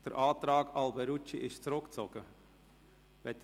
Der Antrag Alberucci ist zurückgezogen worden.